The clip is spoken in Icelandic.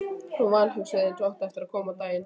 Og vanhugsuðu, eins og átti eftir að koma á daginn.